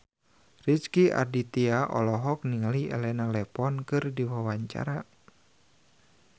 Rezky Aditya olohok ningali Elena Levon keur diwawancara